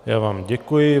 Já vám děkuji.